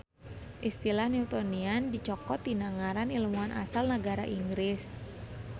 Istilah Newtonian dicokot tina ngaran ilmuan asal nagara Inggris